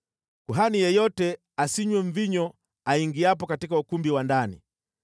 Kuhani yeyote asinywe mvinyo aingiapo katika ukumbi wa ndani.